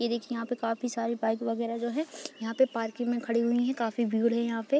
ये देखिए यहाँ पे काफ़ी सारी बाइक वगैरह जो है यहाँ पे पार्किंग में खड़ी हुई हैं। काफ़ी भीड़ है यहाँ पे।